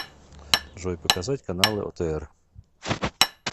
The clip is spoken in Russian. джой показать каналы отр